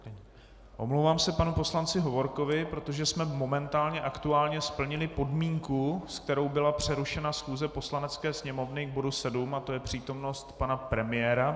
Omlouvám se panu poslanci Hovorkovi, protože jsme momentálně aktuálně splnili podmínku, se kterou byla přerušena schůze Poslanecké sněmovny k bodu 7, a to je přítomnost pana premiéra.